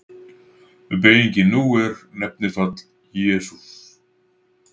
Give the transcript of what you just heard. Beygingin nú er: Nefnifall: Jesús